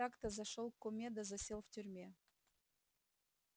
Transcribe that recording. так-то зашёл к куме да засел в тюрьме